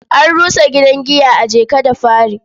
An rusa gidan giya a Jeka-da-Fari.